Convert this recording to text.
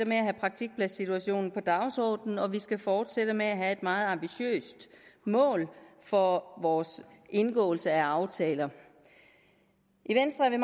at have praktikpladssituationen på dagsordenen og at vi skal fortsætte med at have et meget ambitiøst mål for vores indgåelse af aftaler i venstre er